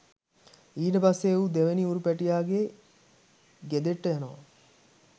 ඊට පස්සේ ඌ දෙවැනි ඌරු පැටියාගේ ගෙදෙට්ට යනවා